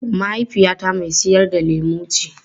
Mahaifiyata mai sayar da lemu ce.